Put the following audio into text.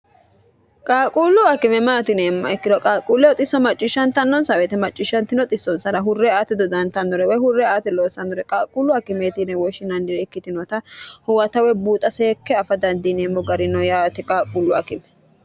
qaaquullu akime maati yineemmoha ikkiro qaaquulleho xisso macciishshantannonsa woyeete maccishantino xissonsara hurre aate dodantannore woy hurre aate loossannore qaaquullu akimeeti yine woshshinannire ikkitinota huwata woy buuxa seekke afa dandiineemmo gari no yaate qaaquullu akime